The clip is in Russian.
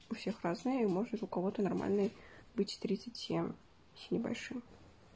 у всех разные может у кого-то нормальный быть тридцать семь с небольшим